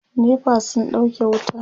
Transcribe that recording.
NEPA sun ɗauke wuta